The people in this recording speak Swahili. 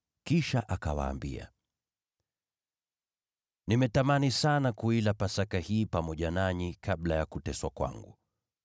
Kisha akawaambia, “Nimetamani sana kuila Pasaka hii pamoja nanyi kabla ya kuteswa kwangu.